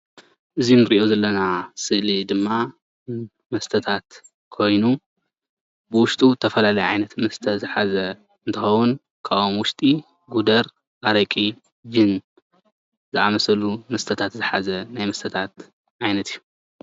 እዚ እንሪኦ ዘለና ስእሊ ድማ መስተታት ኮይኑ ውሽጡ ዝተፈላለየ ዓይነት መስተ ዝሓዘ እንትከውን ካብኦም ውሽጢ ጉደር፣ ኣረቂ ፣ጅም ዝአምሳሰሉ መስተታት ዝሓዘ ናይ መስተታት ዓይነታት እዩ፡፡